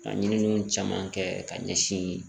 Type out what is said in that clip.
Ka ɲiniw caman kɛ ka ɲɛsin